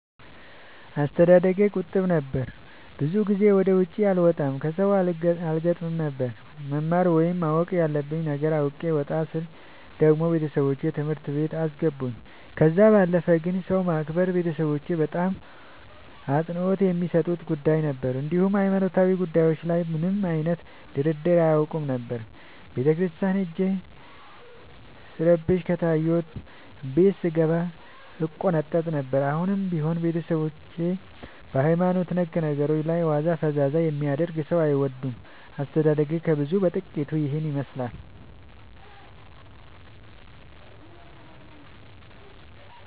አስተዳደጌ ቁጥብ ነበር። ብዙ ጊዜ ወደ ውጪ አልወጣም ከሠው አልገጥምም ነበር። መማር ወይም ማወቅ ያለብኝ ነገር አውቄ ወጣ ስል ደግሞ ቤተሠቦቼ ትምህርት ቤት አስገቡኝ። ከዛ ባለፈ ግን ሰው ማክበር ቤተሠቦቼ በጣም አፅንኦት የሚሠጡት ጉዳይ ነበር። እንዲሁም ሀይማኖታዊ ጉዳዮች ላይ ምንም አይነት ድርድር አያውቁም ነበር። ቤተክርስቲያን ሄጄ ስረብሽ ከታየሁ ቤት ስንገባ እቆነጠጥ ነበር። አሁንም ቢሆን ቤተሠቦቼ በሀይማኖት ነክ ነገሮች ላይ ዋዛ ፈዛዛ የሚያደርግ ሠው አይወዱም። አስተዳደጌ ከብዙው በጥቂቱ ይህን ይመሥላል።